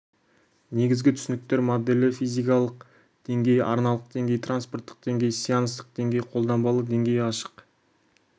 негізгі түсініктер моделі физикалық деңгей арналық деңгей транспорттық деңгей сеанстық деңгей қолданбалы деңгей ашық